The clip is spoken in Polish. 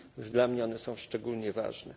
Dla mnie one są szczególnie ważne.